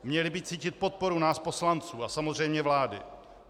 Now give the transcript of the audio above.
Měli by cítit podporu nás poslanců a samozřejmě vlády.